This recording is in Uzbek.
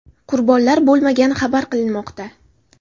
Qurbonlar bo‘lmagani xabar qilinmoqda.